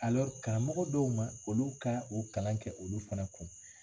karamɔgɔ dɔw ma olu ka o kalan kɛ olu fana kun